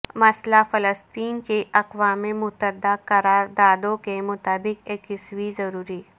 مسئلہ فلسطین کی اقوام متحدہ قرار دادوںکے مطابق یکسوئی ضروری